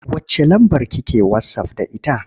Wacce lambar ki ke wasaf da ita?